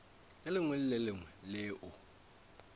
lengwe le le lengwe leo